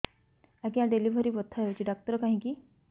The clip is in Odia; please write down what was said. ଆଜ୍ଞା ଡେଲିଭରି ବଥା ହଉଚି ଡାକ୍ତର କାହିଁ କି